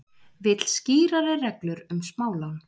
Vill skýrari reglur um smálán